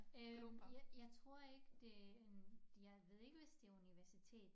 Øh jeg jeg tror ikke det en jeg ved ikke hvis det universitet